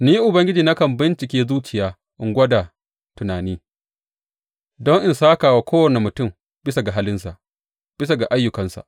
Ni Ubangiji nakan bincike zuciya in gwada tunani, don in sāka wa kowane mutum bisa ga halinsa, bisa ga ayyukansa.